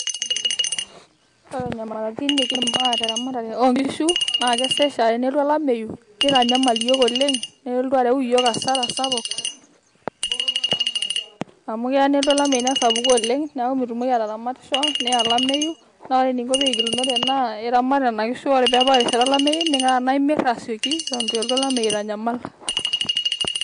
Ore nyamalitin nikimaa teramatare onkishu, na kesesh aa tenelotu olameyu, nitanyamal iyiok oleng',nelotu areu iyiok asara sapuk. Amu kea nelotu olameyu nesapuku oleng' neeku mitumoki ataramatisho neya olameyu. Na ore nikinko pe kigilunore ena na iramat nena kishu ore pebao erishata olameyu ning'uraa tenaa imir asioki, eton eitu elotu olameyu aitanyamal.